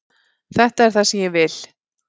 Þetta er það sem ég vil.